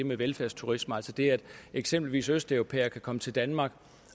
med velfærdsturisme altså det at eksempelvis østeuropæere kan komme til danmark